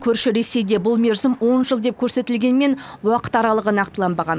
көрші ресейде бұл мерзім он жыл деп көрсетілгенмен уақыт аралығы нақтыланбаған